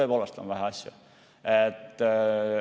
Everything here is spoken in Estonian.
Tõepoolest on vähe asju.